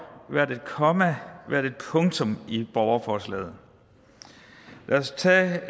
hvert et komma og hvert et punktum i borgerforslaget lad os tage